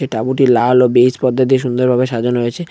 তাবুটি লাল ও বেইজ পর্দা দিয়ে সুন্দর ভাবে সাজানো হয়েছে।